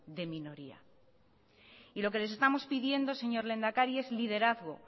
de minoría lo que les estamos pidiendo señor lehendakari es liderazgo